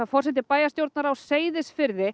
forseti bæjarstjórnar á Seyðisfirði